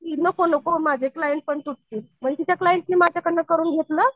नको नको माझे क्लाएंट पण तुटतील. म्हणजे त्यांच्या क्लाएंटनी माझ्याकडून करून घेतलं